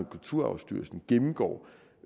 kulturarvsstyrelsen gennemgår